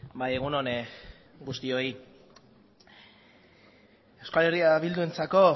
bai egun on guztioi euskal herria bildurentzako